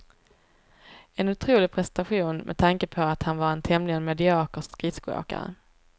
En otrolig prestation med tanke på att han var en tämligen medioker skridskoåkare.